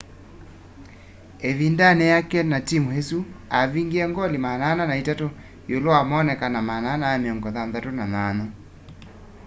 ĩvindanĩ yake na timũ ĩsu avingie ngoli 403 iulu wa moonekano 468